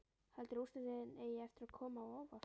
Heldurðu að úrslitin eigi eftir að koma á óvart?